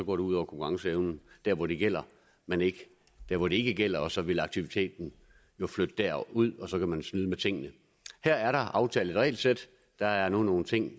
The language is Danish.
ud over konkurrenceevnen der hvor det gælder men ikke der hvor det ikke gælder og så vil aktiviteten jo flytte derud og så kan man snyde med tingene her er der aftalt et regelsæt der er nu nogle ting